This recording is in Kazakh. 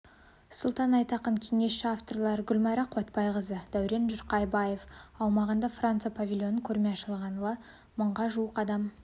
сұлтан айтақын кеңесші авторлары гүлмайра қуатбайықызы дәурен жұрқабаев аумағындағы франция павильонын көрме ашылғалы мыңға жуық адам